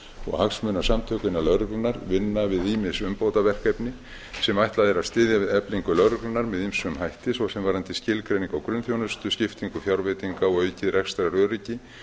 og hagsmunasamtök innan lögreglunnar vinna við ýmis umbótaverkefni sem ætlað er að styðja við eflingu lögreglunnar með ýmsum hætti svo sem varðandi skilgreiningu á grunnþjónustu skiptingu fjárveitinga og aukið rekstraröryggi